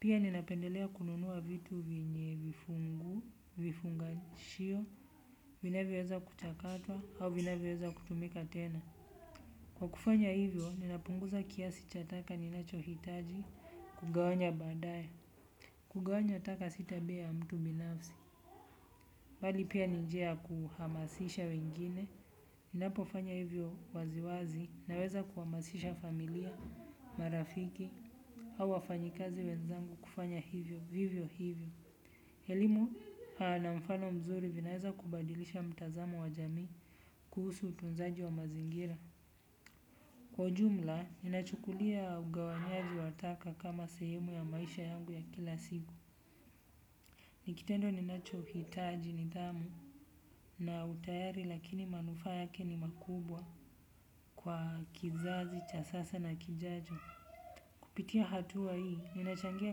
Pia ninapendelea kununua vitu vyenye vifungu, vifungashio, vinavyoweza kuchakatwa, au vinavyoweza kutumika tena. Kwa kufanya hivyo, ninapunguza kiasi cha taka ninachohitaji kugawanya baadaya kugawanya taka si tabia ya mtu binafsi. Mbali pia ni njia ya kuhamasisha wengine ninapo fanya hivyo waziwazi ninaweza kuhamasisha familia, marafiki au wafanyikazi wenzangu kufanya hivyo, vivyo hivyo. Elimu na mfano mzuri vinaweza kubadilisha mtazamo wa jamii kuhusu utunzaji wa mazingira. Kwa ujumla, ninachukulia ugawanyaji wa taka kama sehemu ya maisha yangu ya kila siku. Ni kitendo ninacho hitaji nidhamu na utayari lakini manufaa yake ni makubwa kwa kizazi cha sasa na kijajo. Kupitia hatua hii, ninachangia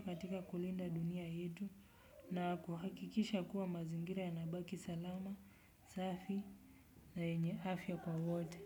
katika kulinda dunia yetu na kuhakikisha kuwa mazingira yanabaki salama, safi na yenye afya kwa wote.